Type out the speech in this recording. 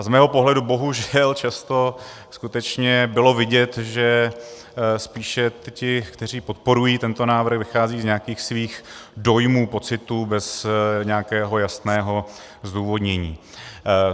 A z mého pohledu bohužel často skutečně bylo vidět, že spíše ti, kteří podporují tento návrh, vycházejí z nějakých svých dojmů, pocitů, bez nějakého jasného zdůvodnění.